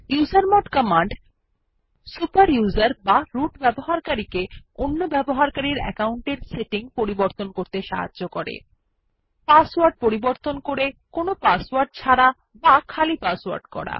usermod command super user বা root ব্যবহারকারীকে অন্য ব্যবহারকারীর আকাউন্টের সেটিং পরিবর্তন করতে সাহায্য করে পাসওয়ার্ড পরিবর্তন করে কোনো পাসওয়ার্ড ছাড়া বা খালি পাসওয়ার্ড করা